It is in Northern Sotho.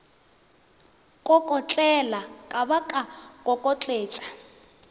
kokotlela ka ba ka kokotletša